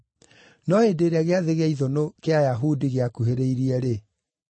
No hĩndĩ ĩrĩa Gĩathĩ gĩa Ithũnũ kĩa Ayahudi gĩakuhĩrĩirie-rĩ,